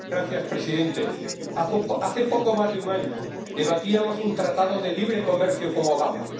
Señor presidente, hace poco más de un año debatíamos un tratado de libre comercio con Obama.